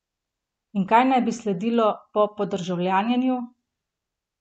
In kaj naj bi sledilo po podržavljenju?